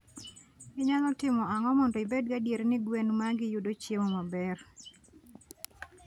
Inyalo timo ang'o mondo ibed gadier ni gwen magi yudo chiemo maber?